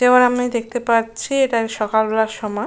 যেমন আমি দেখতে পাচ্ছি এটা সকালবেলার সময়।